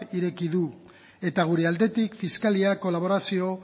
ireki du eta gure aldetik fiskaliak kolaborazio